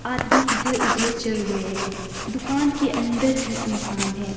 आदमी इधर उधर चल रहे हैं दुकान के अंदर भी इंसान हैं।